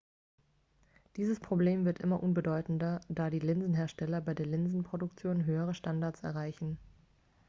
dieses problem wird immer unbedeutender da die linsenhersteller bei der linsenproduktion höhere standards erreichen